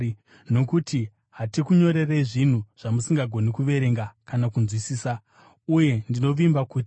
Nokuti hatikunyorerei zvinhu zvamusingagoni kuverenga kana kunzwisisa. Uye ndinovimba kuti,